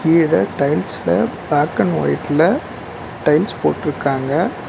கீழ டைல்ஸ்ல black and ஒய்ட்ல டைல்ஸ் போட்ருக்காங்க.